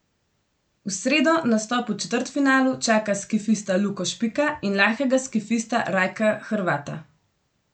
V sredo nastop v četrtfinalu čaka skifista Luko Špika in lahkega skifista Rajka Hrvata.